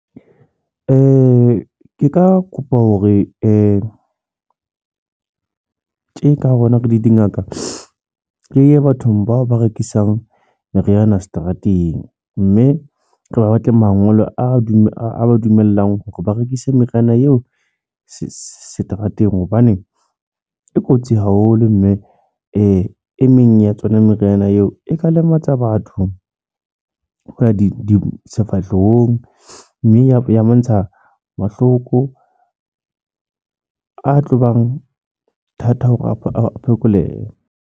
Nka kopa hore tje ka hare rona re le dingaka. Re ye bathong bao ba rekisang meriana seterateng. Mme re ba batle mangolo a dule a dumelang hore ba rekise meriana eo seterateng. Hobane e kotsi haholo, mme e meng ya tsona meriana eo e ka lematsa batho ho ya di di sefahlehong. Mme a mmontsha mahloko a tlobang thata hore a phekolehe.